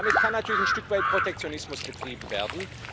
Und damit kann natürlich ein Stück weit Protektionismus betrieben werden.